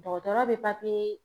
Dɔgɔtɔrɔ be papiye